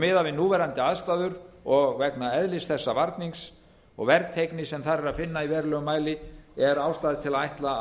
miðað við núverandi aðstæður og vegna eðlis þessa varnings og verð sem þar er að finna í verulegum mæli er ástæða til að ætla að